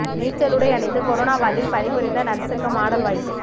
நீச்சல் உடை அணிந்து கொரோனா வார்டில் பணிபுரிந்த நர்சுக்கு மாடல் வாய்ப்பு